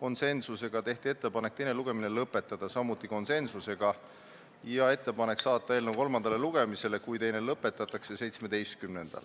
Lisaks tehti ettepanek teine lugemine lõpetada, samuti konsensuslikult, ning kui teine lugemine lõpetatakse, siis saata eelnõu 17. juuniks kolmandale lugemisele